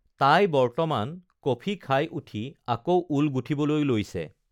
তাই বৰ্তমান কফি খাই উঠি আকৌ ঊল গুঠিবলৈ লৈছে